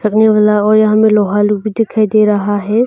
वाला और यहां में लोहा लोग भी दिखाई दे रहा है।